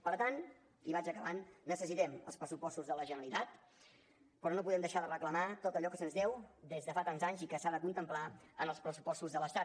per tant i vaig acabant necessitem els pressupostos de la generalitat però no podem deixar de reclamar tot allò que se’ns deu des de fa tants anys i que s’ha de contemplar en els pressupostos de l’estat